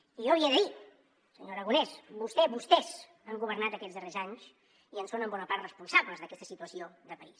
i jo li he de dir senyor aragonès vostè vostès han governat aquests darrers anys i en són en bona part responsables d’aquesta situació de país